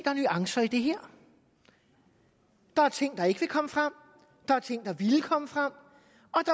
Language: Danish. er nuancer i det her der er ting der ikke vil komme frem der er ting der ville komme frem